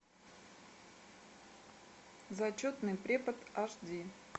зачетный препод аш ди